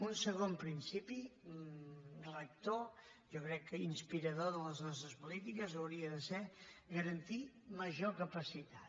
un segon principi rector jo crec que inspirador de les nostres polítiques hauria de ser garantir major capacitat